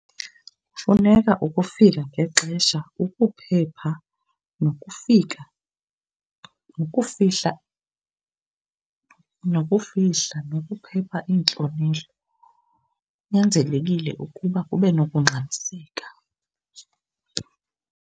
Kufuneka ukufika ngexesha ukuphepha nokufika nokufihla, nokuphepha iintlonelo kunyanzelekile ukuba kube nokungxamiseka.